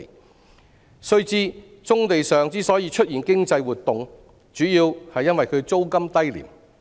我們要知道，棕地出現經濟活動，主要原因是其租金低廉。